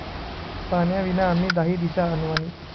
पाण्या विना आम्ही दाहीदिशा अनवाणी'